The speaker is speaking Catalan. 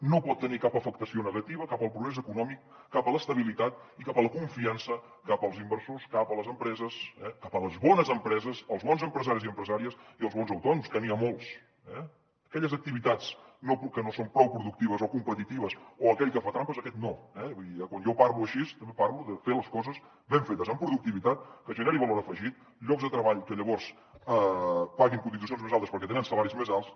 no pot tenir cap afectació negativa cap al progrés econòmic cap a l’estabilitat i cap a la confiança cap als inversors cap a les empreses eh cap a les bones empreses els bons empresaris i empresàries i els bons autònoms que n’hi ha molts eh aquelles activitats que no són prou productives o competitives o aquell que fa trampes aquest no eh vull dir quan jo parlo així també parlo de fer les coses ben fetes amb productivitat que generi valor afegit llocs de treball que llavors paguin cotitzacions més altes perquè tenen salaris més alts